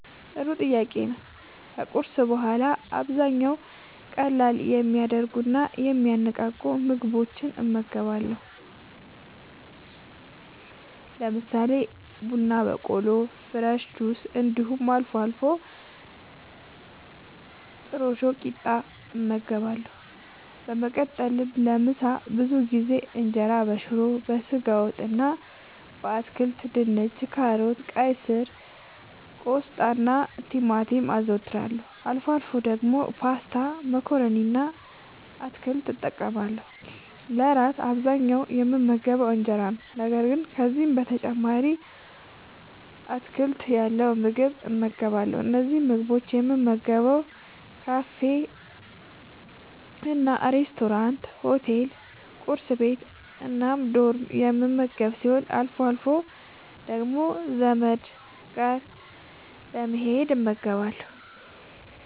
ጥሩ ጥያቄ ነዉ ከቁርስ በኋላ በአብዛኛዉ ቀለል የሚያደርጉና የሚያነቃቁ ምግቦችን እመገባለሁ። ለምሳሌ፦ ቡና በቆሎ፣ ፍረሽ ጁሶች እንዲሁም አልፎ አልፎ ጥረሾ ቂጣ እመገባለሁ። በመቀጠልም ለምሳ ብዙ ጊዜ እንጀራበሽሮ፣ በስጋ ወጥ እና በአትክልት( ድንች፣ ካሮት፣ ቀይስር፣ ቆስጣናቲማቲም) አዘወትራለሁ። አልፎ አልፎ ደግሞ ፓስታ መኮረኒ እና አትክልት እጠቀማለሁ። ለእራት በአብዛኛዉ የምመገበዉ እንጀራ ነዉ። ነገር ግን ከዚህም በተጨማሪ አትክልት ያለዉ ምግብ እመገባለሁ። እነዚህን ምግቦች የምመገበዉ ካፌናሬስቶራንት፣ ሆቴል፣ ቁርስ ቤት፣ እና ዶርም የምመገብ ሲሆን አልፎ አልፎ ደግሞ ዘመድ ጋር በመሄድ እመገባለሁ።